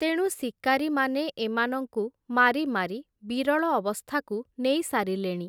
ତେଣୁ ଶିକାରୀମାନେ ଏମାନଙ୍କୁ ମାରି ମାରି ବିରଳ ଅବସ୍ଥାକୁ ନେଇ ସାରିଲେଣି ।